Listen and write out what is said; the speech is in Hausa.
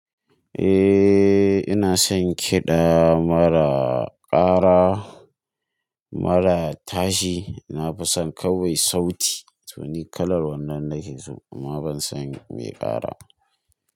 Eh ina son kiɗa mara ƙara, mara tashi. Na fi son kawai sauti. To ni kalar wannan nake so amma ban son mai ƙara.